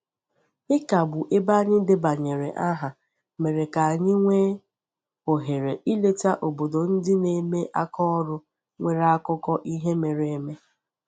Ịkagbu ebe anyị debanyere aha mere ka anyị nwee ohere ileta obodo ndị na-eme aka ọrụ nwere akụkọ ihe mere eme.